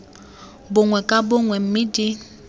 bongwe ka bongwe mme di